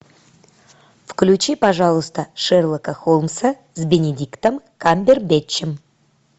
включи пожалуйста шерлока холмса с бенедиктом камбербэтчем